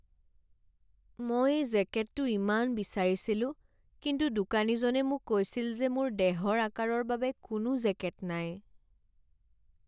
মই এই জেকেটটো ইমান বিচাৰিছিলো কিন্তু দোকানীজনে মোক কৈছিল যে মোৰ দেহৰ আকাৰৰ বাবে কোনো জেকেট নাই।